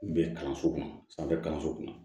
Bɛn kalanso kɔnɔ sanfɛ kalanso kɔnɔ